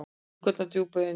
Hrukkurnar djúpar í enninu.